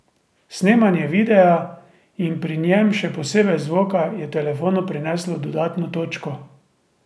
Snemanje videa in pri njem še posebej zvoka je telefonu prineslo dodatno točko.